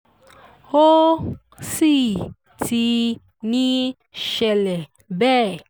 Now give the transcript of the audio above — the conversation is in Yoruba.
ó sì ti ń ṣẹlẹ̀ bẹ́ ẹ